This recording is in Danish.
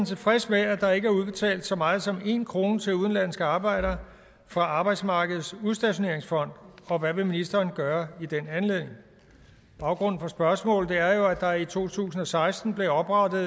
tilfreds med at der ikke er udbetalt så meget som en krone til udenlandske arbejdere fra arbejdsmarkedets udstationeringsfond og hvad vil ministeren gøre i den anledning baggrunden for spørgsmålet er jo at der i to tusind og seksten blev oprettet